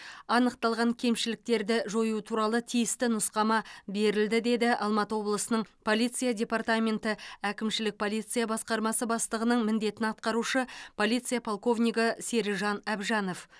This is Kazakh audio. анықталған кемшіліктерді жою туралы тиісті нұсқама берілді деді алматы облысының полиция департаменті әкімшілік полиция басқармасы бастығының міндетін атқарушы полиция полковнигі серіжан әбжанов